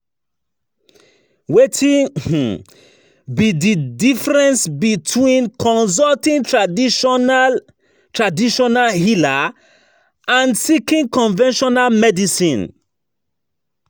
Wetin um be di difference um between consulting traditional traditional healer and seeking conventional medicine?